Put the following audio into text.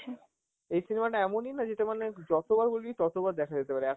এই cinema টা এমনই না যেটা মানে যতবার বলবি ততবার দেখা যেতে পারে,